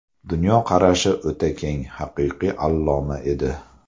Dunyoqarashi o‘ta keng, haqiqiy alloma edi.